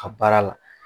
A baara la